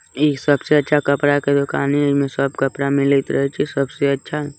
इ सबसे अच्छा कपड़ा का दुकान हैय इनमे सब कपड़ा मिलत रहिय छय सबसे अच्छा --